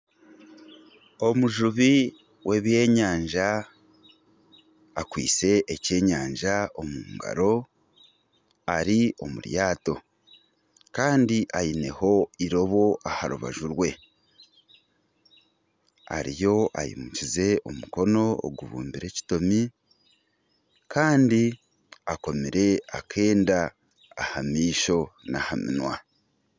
Omujubi w'ebyenyanja akwaitse ekyenyanja omungaro Ari omuryato Kandi aineho eirobo aha rubaju rwe ariyo aimukize omukono ogubumbire ekitomi Kandi akomire akenda ahamaisho naha minwa